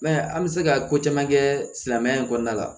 I b'a ye an bɛ se ka ko caman kɛ silamɛya in kɔnɔna la